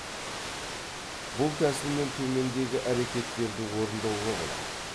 бұл тәсілмен төмендегі әрекеттерді орындауға болады